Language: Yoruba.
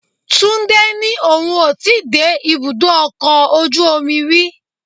Túndé ní òun ó ti dé ibùdó ọkọ̀ ojú omi rí.